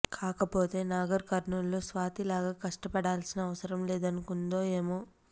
కాకపోతే నాగర్ కర్నూలులో స్వాతి లాగ కష్టపడాల్సిన అవసరం లేదనుకుందో ఏమో